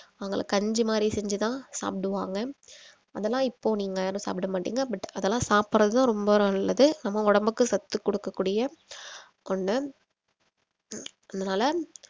அவங்கெல்லாம் கஞ்சி மாரி செஞ்சி தான் சாப்பிடுவாங்க அதெல்லாம் இப்போ நீங்க யாரும் சாப்பிட மாட்டீங்க but அதெல்லாம் சாப்பிடுறதுதான் ரொம்ப நல்லது நம்ம உடம்புக்கு சத்து குடுக்கக்கூடிய ஒண்ணு அதனால